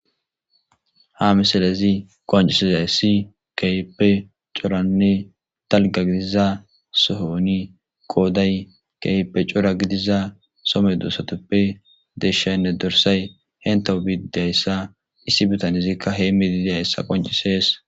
ha misalezi qoncisizay si keype coranne dalga gidiza sohoni kooday keype cora gidiza some doosatoppe deshaynne dorsay hentou biidayssa issi bitanizikka hee midideyayssa qoncisees